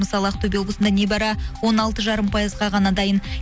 мысалы ақтөбе облысында небәрі он алты жарым пайызға ғана дайын